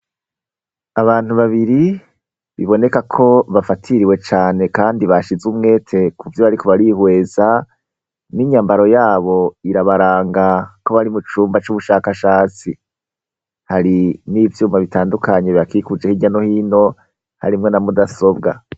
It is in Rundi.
Abantu babiri biboneka ko bafatiriwe cane kandi bashize umwete kuvyo bariko barihweza, n'inyambaro yabo irabaranga ko bari mu cumba c'ubushakashatsi. Hari n'ivyuma bitandukanye bibakikuje hirya no hino harimwo na mudasobwa.